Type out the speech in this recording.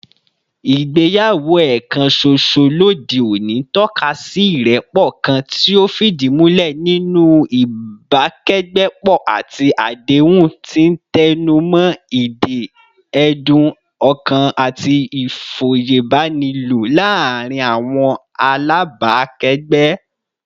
Ìgbéyàwó ẹ̀ẹ̀kan ṣoṣo lóde òní ń tọ́ka sí ìrẹ́pọ̀ kan tí ó fìdí múlẹ̀ nínú ìbákẹ́gbẹ́pọ̀ àti àdéhùn, tí ń tẹnu mọ́ ìdè ẹ̀dùn-ọkàn àti ìfòyebánilò láàárín àwọn alábàákẹ́gbẹ́